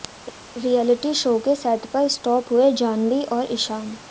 reality show के set पर spot हुए जाह्नवी और ईशान